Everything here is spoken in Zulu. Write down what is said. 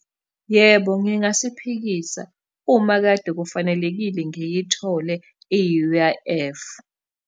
Yebo, ngingasiphikisa, uma kade kufanelekile ngiyithole i-U_I_F.